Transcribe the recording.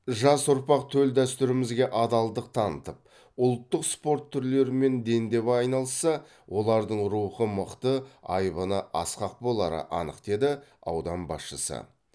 жас ұрпақ төл дәстүрімізге адалдық танытып ұлттық спорт түрлерімен дендеп айналысса олардың рухы мықты айбыны асқақ болары анық деді аудан басшысы